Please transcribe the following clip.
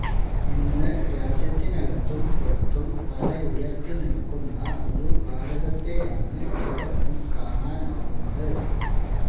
ഇന്ന് രാജ്യത്തിനകത്തും പുറത്തും തലയുയർത്തി നിൽക്കുന്ന ഒരു ഭാരതത്തെയാണ് ഏവർക്കും കാണാനാവുന്നത്